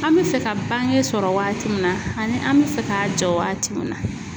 An bi fɛ ka bange sɔrɔ waati mun na ani an bi fɛ ka jɔ waati mun na.